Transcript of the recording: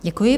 Děkuji.